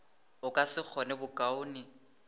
a ka se kgone bokaone